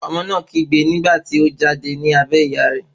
Ọmọ náà ké nígbà tí o jáde ní abẹ́ ìyá rẹ̀